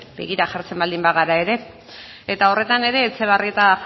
begira jartzen baldin bagara ere eta horretan ere etxebarrieta